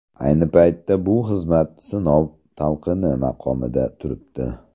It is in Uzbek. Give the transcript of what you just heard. Ayni paytda bu xizmat sinov talqini maqomida turibdi.